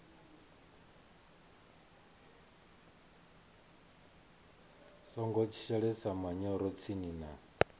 songo shelesa manyoro tsini na